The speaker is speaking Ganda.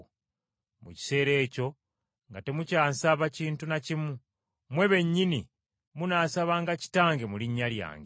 Mu kiseera ekyo nga temukyansaba kintu na kimu, mmwe bennyini munaasabanga Kitange mu linnya lyange.